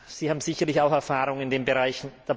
Sie haben sicherlich auch Erfahrung in diesem Bereich.